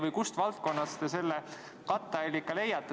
Või kust valdkonnast te selle katteallika leiate?